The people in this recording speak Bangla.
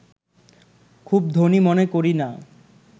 খুব ধনী মনে করি না